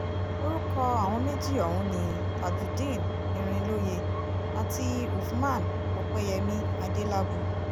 orúkọ àwọn méjì ọ̀hún ni tajudeen irinlóye àti uffman opẹyẹmí adélábù